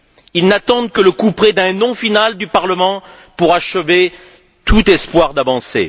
Ils n'attendent que le couperet d'un non final du Parlement pour achever tout espoir d'avancées.